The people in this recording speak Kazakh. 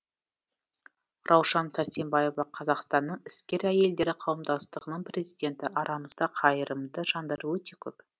раушан сәрсембаева қазақстанның іскер әйелдері қауымдастығының президенті арамызда қайырымды жандар өте көп